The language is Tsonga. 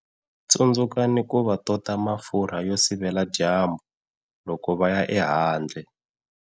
Tsundzukani ku va tota mafurha yo sivela dyambu loko va ya ehandle.